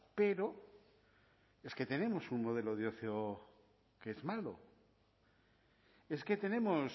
pero es que tenemos un modelo de ocio que es malo es que tenemos